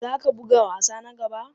Za ka buga wasa na gaba?